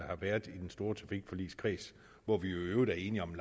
har været i den store trafikpolitiske kreds hvor vi jo i øvrigt er enige om en